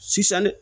Sisan